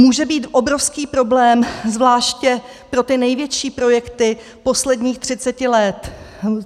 Může být obrovský problém zvláště pro ty největší projekty posledních 30 let.